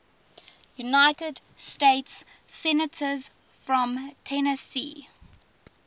united states senators from tennessee